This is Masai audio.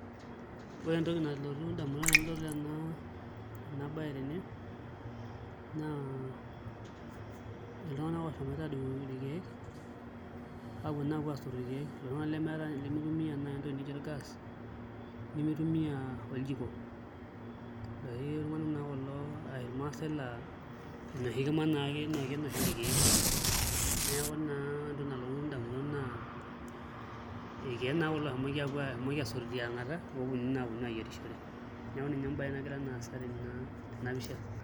Ore entoki nalotu indamunot tenadol ena baye tene naa iltunganak oshomoita aadung'u irkeek aaponu aapuo aasotu irkeek iltunganak lemitumiaa naai entoki nijio orgaas nemitumia oljiko neeku iloshi tung'anak naa kulo ashu iloshi maasai oitumia enoshi kima ake orkeek neeku naa ore entoki nalotu indamunot naa irkeek naa kulo ooshomoki aasotu tiang'ata pee eponunui naa aponu aayierishore neeku naa ina embaye nagira aasa tena pisha.